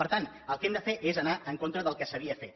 per tant el que hem de fer és anar en contra del que s’havia fet